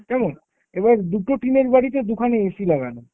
কেমন। এবার দুটো টিনের বাড়িতে দুখানা AC লাগানো।